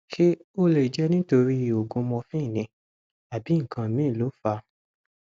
ṣé ó lè jẹ nítorí oògùn morphine ni àbí nǹkan míì ló fà á